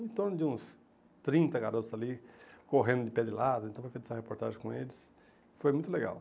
Em torno de uns trinta garotos ali, correndo de pé de lata, então foi feita essa reportagem com eles, foi muito legal.